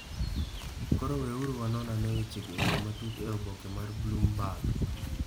(Koro weuru wanon ane wechego e yo matut e oboke mar Bloomberg.)